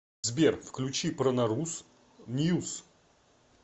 сбер включи пронорус ньюс